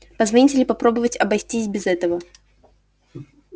позвонить или попробовать обойтись без этого